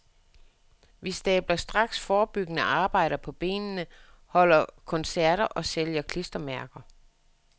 Vi stabler straks forebyggende arbejder på benene, holder koncerter og sælger klistermærker.